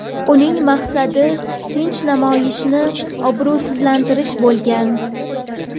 Uning maqsadi tinch namoyishni obro‘sizlantirish bo‘lgan.